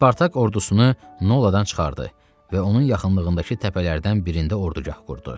Spartak ordusunu Noladan çıxardı və onun yaxınlığındakı təpələrdən birində ordgah qurdu.